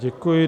Děkuji.